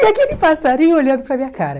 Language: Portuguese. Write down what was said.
E aquele passarinho olhando para minha cara.